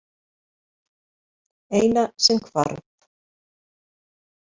Eina sem hvarf.